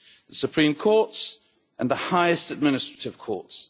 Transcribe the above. the Supreme Courts and the highest administrative courts.